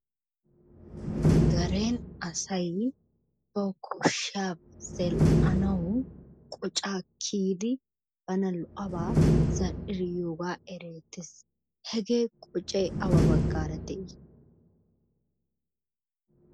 Nu deren asay bawu koshshiyaba zal'anawu qocaa kiyidi bana lo'abaa zal'idi yiyogaa erettes. Hegee qocay awa baggaara de'i?